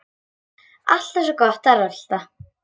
Alltaf svo gott að rölta.